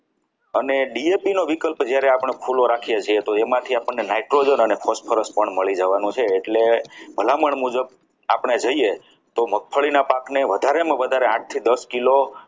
અને DAP નો વિકલ્પ જ્યારે આપણે ખુલ્લુ રાખીએ છીએ તો એમાંથી આપણને nitrogen અને phosphorus પણ મળી જવાનો છે એટલે ભલામણ મુજબ આપણે જઈએ તો મગફળીના પાકને વધારેમાં વધારે આઠ થી દસ કિલો